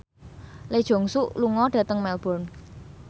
Lee Jeong Suk lunga dhateng Melbourne